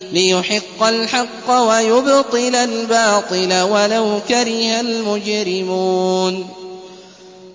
لِيُحِقَّ الْحَقَّ وَيُبْطِلَ الْبَاطِلَ وَلَوْ كَرِهَ الْمُجْرِمُونَ